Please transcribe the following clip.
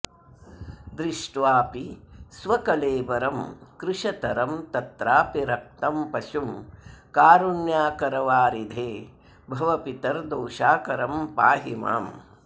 दृष्ट्वापि स्वकलेबरं कृशतरं तत्रापि रक्तं पशुं कारुण्याकरवारिधे भव पितर्दोषाकरं पाहि माम्